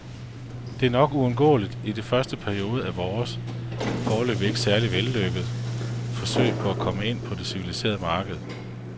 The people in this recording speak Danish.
Det er nok uundgåeligt i den første periode af vores, foreløbig ikke særlig vellykkede, forsøg på at komme ind på det civiliserede marked.